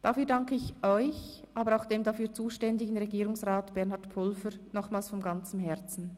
Dafür danke ich euch, aber auch dem dafür zuständigen Regierungsrat Bernhard Pulver, nochmals von ganzem Herzen.